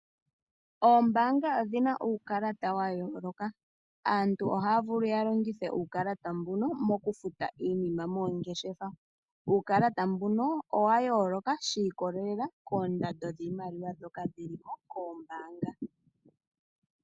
Oombanga odhi na uukalata wa yooloka. Aantu ohaya vulu ya longithe uukalata mbuno mokufuta iinima moongeshefa. Uukalata mbuno owa yooloka sha ikolelela koondando dhiimaliwa ndhoka dhi liko koombanga.